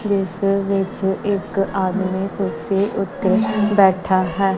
ਜਿਸ ਵਿੱਚ ਇੱਕ ਆਦਮੀ ਕੁਰਸੀ ਉੱਤੇ ਬੈਠਾ ਹੈ।